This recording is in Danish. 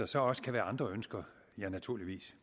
så også være andre ønsker ja naturligvis